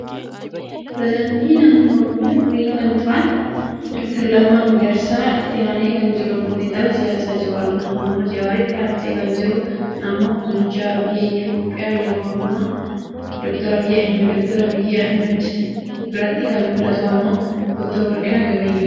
Pireesidenti naanno oromiyaa durii kan turan Dr. Lamma Magarsaa, Itti aanee kan jiruu xinxalaa siyaasa Jawar Mohammed, Jawaritti aansee kan jiru ammoo Bulchaa biyya Itoopiyaa yeroo amma Phd. Abiy Ahmed, Phd. Abiy Ahimed ciinan kan Mul'atu ammo Dr. Warqinaa Gabayyotii.